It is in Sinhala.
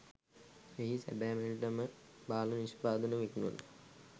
එහි සැබෑ මිලට ම බාල නිෂ්පාදන විකුණන